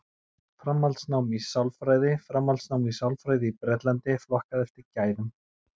Framhaldsnám í sálfræði Framhaldsnám í sálfræði í Bretlandi, flokkað eftir gæðum.